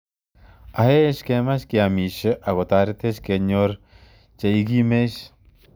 Aech kemach keamishe akotaretech kenyor chekimech